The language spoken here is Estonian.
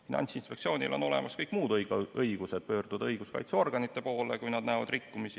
Finantsinspektsioonil on olemas kõik muud õigused, näiteks õigus pöörduda õiguskaitseorganite poole, kui nad näevad rikkumist.